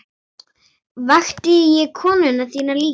Vakti ég konu þína líka?